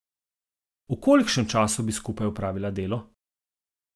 V kolikšnem času bi skupaj opravila delo?